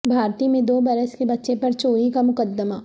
بھارتی میں دو برس کے بچے پر چوری کا مقدمہ